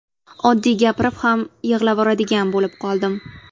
Oddiy gapirib ham yig‘lavoradigan bo‘lib qoldim.